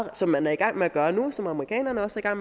og som man er i gang med at gøre nu og som amerikanerne også er